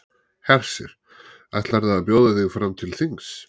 Hersir: Ætlarðu að bjóða þig fram til þings?